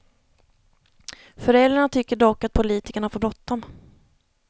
Föräldrarna tycker dock att politikerna har för bråttom.